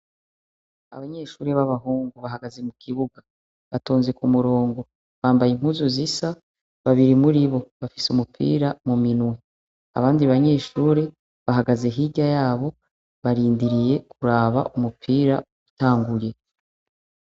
Abanyeshuri b'abahungu bahagaze mu kibuga batonze ku murongo bambaye impuzu zisa babiri muri bo bafise umupira mu minwe abandi banyeshuri bahagaze hirya yabo barindiriye kuraba umupira utanguye.